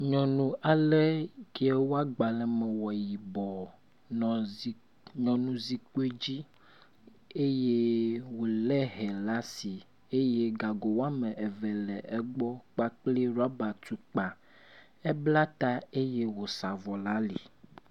Nyɔnu alɛ kee woa gbalẽme wɔ yibɔ nɔ zikpui nɔ nyɔnu zikpui dzi eye wòlé hɛ ɖe asi eye gago woameve le egbɔ kpakple rɔba tukpa. Ebla ta eye wòsa avɔ ɖe ali.